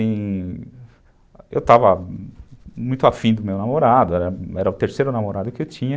E... Eu estava muito afim do meu namorado, era o terceiro namorado que eu tinha.